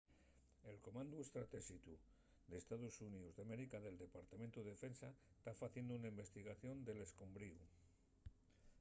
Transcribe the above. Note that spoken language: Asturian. el comandu estratéxicu d’estaos xuníos d'américa del departamentu de defensa ta faciendo una investigación del escombriu